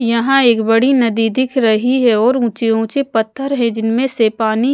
यहां एक बड़ी नदी दिख रही है और ऊंचे ऊंचे पत्थर हैं जिनमें से पानी--